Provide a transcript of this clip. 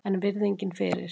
En virðingin fyrir